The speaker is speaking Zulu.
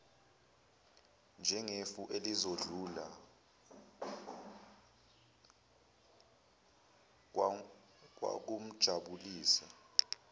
njengefu elizodlula okwakumjabulisa